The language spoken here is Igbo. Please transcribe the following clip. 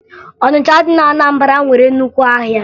Ọnịcha dị na Anambara nwere nnukwu ahịa